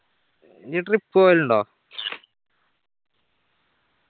നീ trip പോവലിണ്ടോ